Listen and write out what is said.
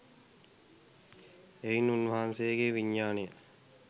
එයින් උන්වහන්සේගේ විඥානය